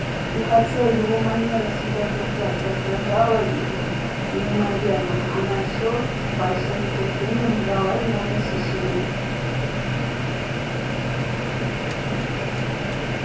и хотя его манера себя держать раздражала её неимоверно она все с большим нетерпением ждала его посещения